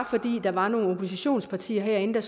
fordi der var nogle oppositionspartier herinde der